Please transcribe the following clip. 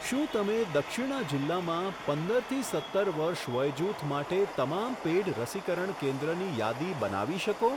શું તમે દક્ષિણા જિલ્લામાં પંદરથી સત્તર વર્ષ વયજૂથ માટે તમામ પેઈડ રસીકરણ કેન્દ્રની યાદી બનાવી શકો?